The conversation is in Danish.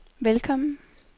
velkommen